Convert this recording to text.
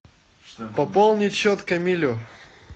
пополнить счет камилю